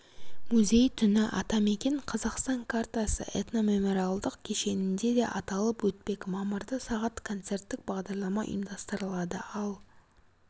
музей түні атамекен қазақстан картасы этномемориалдық кешенінде де аталып өтпек мамырда сағат концерттік бағдарлама ұйымдастырылады ал